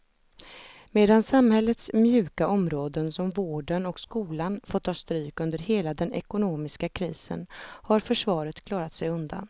Medan samhällets mjuka områden som vården och skolan fått ta stryk under hela den ekonomiska krisen har försvaret klarat sig undan.